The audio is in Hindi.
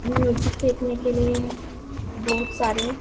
म्यूजिक देखने के लिए बहुत सारे --